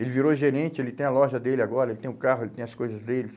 Ele virou gerente, ele tem a loja dele agora, ele tem o carro, ele tem as coisas dele.